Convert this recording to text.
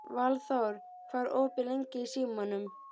Valþór, hvað er opið lengi í Símanum?